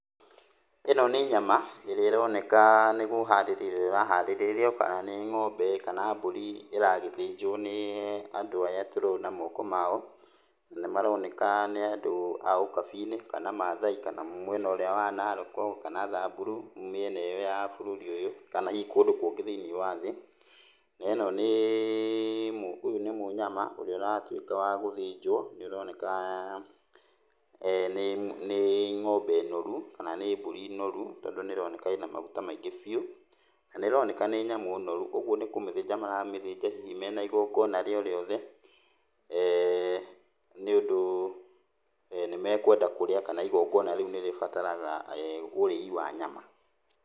Ĩno nĩ nyama ĩrĩa ĩroneka nĩkũharĩrĩrio ĩrahariririo kana nĩ ng'ombe kana mbũri ĩragĩthĩnjwo nĩ andũ aya tũrona moko ma o. Nĩmaroneka nĩ andũ a ũkabi-inĩ kana mathai kana mwena ũrĩa wa Naroko kana Thamburu, nĩ mĩena ĩ yo ya bũrũri ũyũ kana hihi kũndũ kũngĩ thĩiniĩ wa thĩ. Na ĩ no nĩ ũyũ nĩ mnyama ũrĩa ũratuĩka wa gũthĩnjwo, na nĩũroneka nĩ ng'ombe norũ kana nĩ mbũri noru tondũ nĩĩroneka ĩ na magũta maĩngĩ biũ, na nĩĩroneka nĩ nyamũ noru ũguo nikũmĩthĩnja maramĩthĩnja hihi me na igongona o rĩothe eeh nĩũndũ nĩmekwenda kũrĩa kana igongona rĩu nĩrĩbataraga eeh ũrĩi wa nyama.